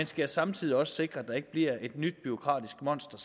skal samtidig også sikre at der ikke bliver skabt et nyt bureaukratisk monster